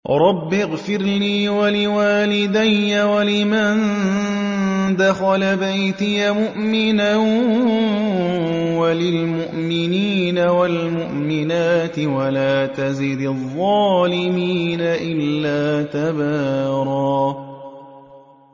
رَّبِّ اغْفِرْ لِي وَلِوَالِدَيَّ وَلِمَن دَخَلَ بَيْتِيَ مُؤْمِنًا وَلِلْمُؤْمِنِينَ وَالْمُؤْمِنَاتِ وَلَا تَزِدِ الظَّالِمِينَ إِلَّا تَبَارًا